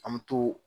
An bɛ to